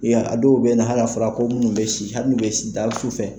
a dɔw bɛ na hali a fɔra ko minnu bɛ hali bɛ si fɛ